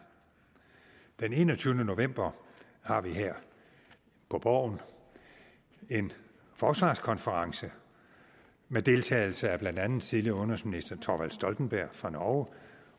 den enogtyvende november har vi her på borgen en forsvarskonference med deltagelse af blandt andet den tidligere udenrigsminister thorvald stoltenberg fra norge